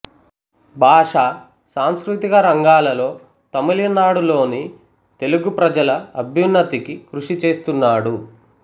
భాషా సాంస్కృతిక రంగాలలో తమిళనాడులోని తెలుగు ప్రజల అభ్యున్నతికి కృషి చేస్తున్నాడు